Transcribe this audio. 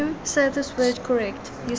ko re tswang teng re